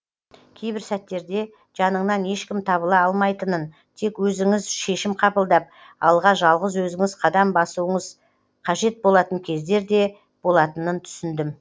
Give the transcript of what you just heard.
кейбір сәттерде жаныңнан ешкім табыла алмайтынын тек өзіңіз шешім қабылдап алға жалғыз өзіңіз қадам басуыңыз қадет болатын кездер де болатынын түсіндім